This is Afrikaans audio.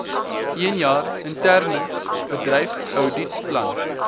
eenjaar interne bedryfsouditplan